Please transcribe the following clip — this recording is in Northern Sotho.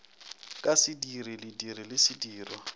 ka sediri lediri le sedirwa